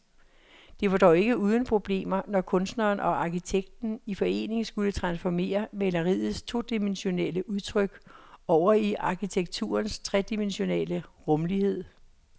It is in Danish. Det var dog ikke uden problemer, når kunstneren og arkitekten i forening skulle transformere maleriets todimensionelle udtryk over i arkitekturens tredimensionelle rumlighed.